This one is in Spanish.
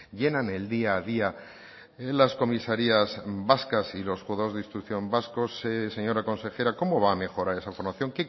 llenan el día a día las comisarías vascas y los juzgados de instrucción vascos señora consejera cómo va a mejorar esa formación